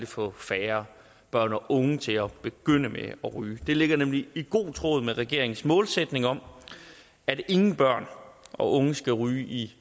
få færre børn og unge til at begynde med at ryge det ligger nemlig i god tråd med regeringens målsætning om at ingen børn og unge skal ryge i